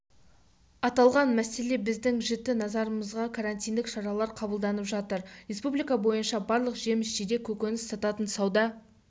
аталған мәселе біздің жіті назарымызда карантиндік шаралар қабылданып жатыр республика бойынша барлық жеміс-жидек көкөніс сататын сауда